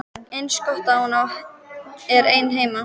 Eins gott að hún er ein heima.